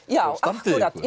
já standið ykkur